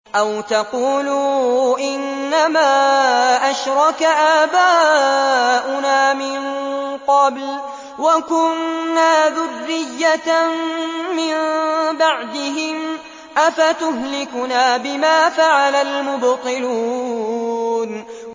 أَوْ تَقُولُوا إِنَّمَا أَشْرَكَ آبَاؤُنَا مِن قَبْلُ وَكُنَّا ذُرِّيَّةً مِّن بَعْدِهِمْ ۖ أَفَتُهْلِكُنَا بِمَا فَعَلَ الْمُبْطِلُونَ